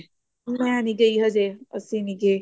ਮੈਂ ਨੀ ਗਈ ਹਜੇ ਅਸੀਂ ਨੀ ਗਏ